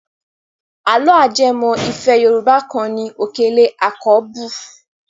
Àlọ́ ajẹmọ́ ìfẹ́ Yorùbá kan ni Òkèlè àkọ́bù.